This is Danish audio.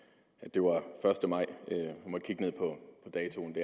det var første maj jeg må kigge ned på datoen